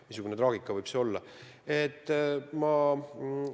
Missugune traagika võib see olla kogu perele, eks ole.